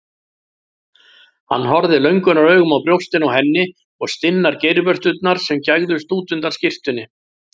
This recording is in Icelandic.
Hann horfði löngunaraugum á brjóstin á henni og stinnar geirvörturnar sem gægðust út undan skyrtunni.